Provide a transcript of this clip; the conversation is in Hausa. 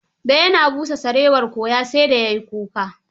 Da ya na busa sarewar, kowa sai da ya yi kuka.